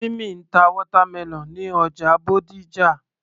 Timmy ń ta watermelon ní ọjà Bódìjà